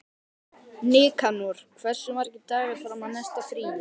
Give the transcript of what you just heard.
Nikanor, hversu margir dagar fram að næsta fríi?